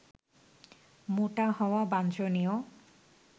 মোটা হওয়া বাঞ্ছনীয়